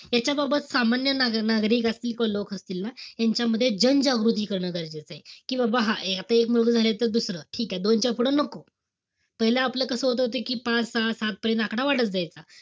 ह्याच्याबाबत सामान्य ना~ नागरिक असतील किंवा लोक असतील ना, ह्यांच्यामध्ये जनजागृती करणं, गरजेचंय. कि बाबा हा, आता एक मुलग झालाय त दुसरं. ठीकेय. दोनच्या पुढं नको. पाहिलं आपलं कस होत होता कि पाच-सहा-सात पर्यंत आकडा वाढत जायचा.